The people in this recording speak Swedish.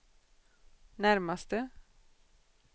närmaste